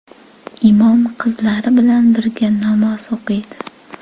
Imom qizlar bilan birga namoz o‘qiydi.